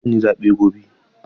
Eh zan yi zaɓe gobe.